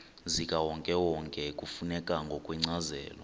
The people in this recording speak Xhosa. zikawonkewonke kufuneka ngokwencazelo